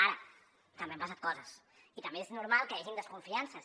ara també han passat coses i també és normal que hi hagin desconfiances